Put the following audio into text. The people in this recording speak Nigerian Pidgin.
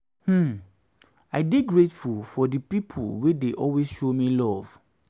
um i dey grateful for di pipo wey dey always show me luv